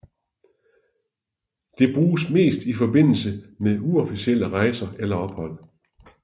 Det bruges mest i forbindelse med uofficielle rejser eller ophold